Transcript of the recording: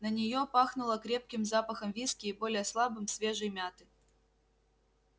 на неё пахнуло крепким запахом виски и более слабым свежей мяты